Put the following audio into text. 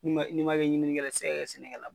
N'i ma n'i ma kɛ ɲininikɛla ye i ti se ka kɛ sɛnɛkɛla ye.